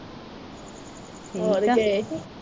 ਹੋਰ ਗਏ ਹੀ